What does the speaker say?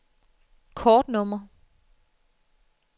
kortnummer